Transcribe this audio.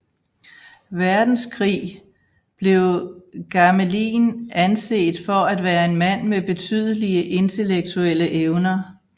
Verdenskrig blev Gamelin anset for at være en mand med betydelige intellektuelle evner